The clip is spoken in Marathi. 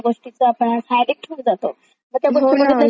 पण ते बघितल्याशिवाय करमत पण नाही असं पण व्हायला नको खरं तर.